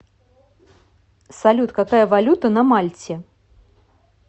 салют какая валюта на мальте